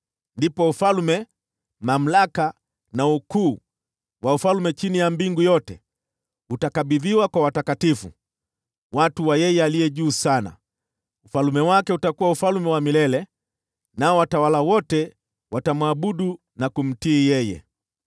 Ndipo ufalme, mamlaka na ukuu wa falme chini ya mbingu yote utakabidhiwa kwa watakatifu, watu wa Yeye Aliye Juu Sana. Ufalme wake utakuwa ufalme wa milele, nao watawala wote watamwabudu na kumtii yeye.’